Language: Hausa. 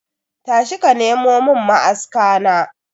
Tashi ka nemo mun ma'aska na.